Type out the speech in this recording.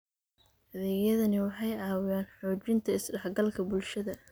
Adeegyadani waxay caawiyaan xoojinta is-dhexgalka bulshada.